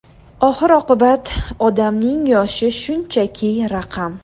Oxir-oqibat, odamning yoshi shunchaki raqam.